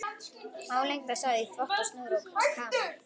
Álengdar sá í þvott á snúru og kamar.